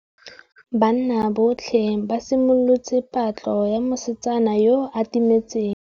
Banna botlhê ba simolotse patlô ya mosetsana yo o timetseng.